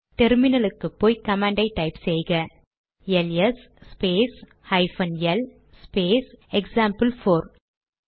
டெர்மினலுக்குப்போய் command type செய்க LS space hyphen L space example four